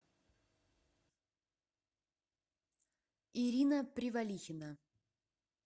ирина привалихина